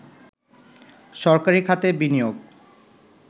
সরকারি খাতে বিনিয়োগ